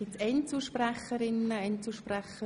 Gibt es noch Einzelsprecherinnen und Einzelsprecher?